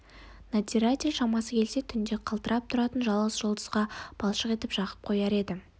надзиратель шамасы келсе түнде қалтырап тұратын жалғыз жұлдызға балшық жағып қояр еді